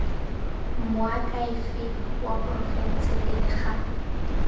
moakhaefeng wa porofense pele ga